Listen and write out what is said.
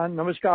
नमस्कार जी